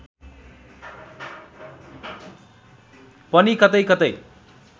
पनि कतैकतै